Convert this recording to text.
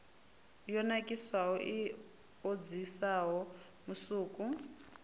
yo nakiswaho i okisaho musuku